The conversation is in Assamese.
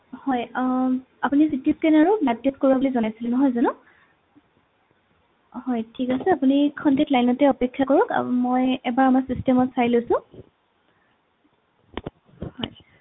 হয় আহ আপুনি CT scan আৰু blood test কৰোৱা বুলি জনাইছিলে নহয় জানো হয় ঠিক আছে আপুনি ক্ষন্তেক লাইনতে অপেক্ষা কৰক আহ মই এবাৰ আমাৰ system ত চাই লৈছো হয়